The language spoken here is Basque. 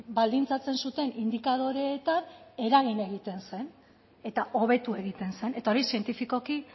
baldintzatzen zuten indikadoreetan eragin egiten zen eta hobetu egiten zen eta hori zientifikoki